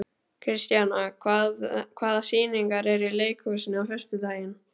Kristíanna, hvaða sýningar eru í leikhúsinu á föstudaginn?